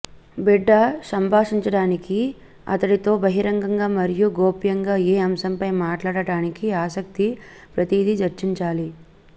బిడ్డ సంభాషించడానికి అతడితో బహిరంగంగా మరియు గోప్యంగా ఏ అంశం పై మాట్లాడటానికి ఆసక్తి ప్రతిదీ చర్చించాలి